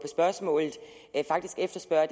spørgsmål faktisk efterspørger